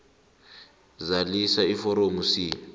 zalisa iforomo c